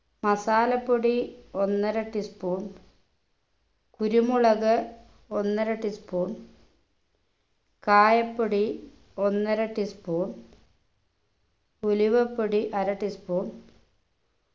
masala പ്പൊടി ഒന്നര tea spoon കുരുമുളക് ഒന്നര tea spoon കായപ്പൊടി ഒന്നര tea spoon ഉലുവപ്പൊടി അര tea spoon